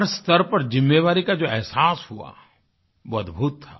हर स्तर पर ज़िम्मेवारी का जो अहसास हुआ वो अद्भुत था